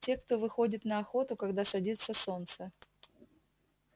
те кто выходит на охоту когда садится солнце